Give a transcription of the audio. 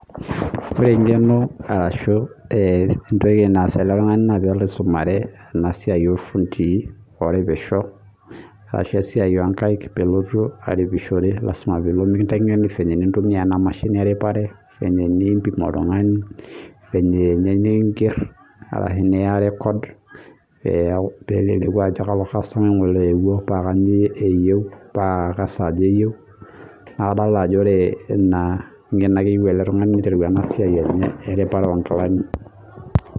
Ore engeno arashu entoki naas eletungani naa pelo aisumare enasiai ofundii oripisho ashu esiai onkaik pelotu aripishore lasima pekintenegeni eniko pintumia enamashini eripare venye nimpim oltungani , venye ninger ashu niya record peleleku ajo kalo kastomai ngole owueo paa kainyio eyieu naa kesaja eyieu, niaku kadolta ajo inangeno eyieu oltungani.